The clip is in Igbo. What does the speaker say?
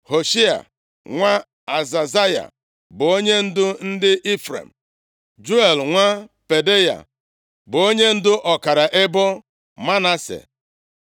Hoshea nwa Azazaya bụ onyendu ndị Ifrem; Juel nwa Pedaya bụ onyendu ọkara ebo Manase;